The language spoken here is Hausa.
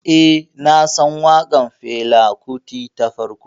Eh, nasan waƙar Fela Kuti ta farko.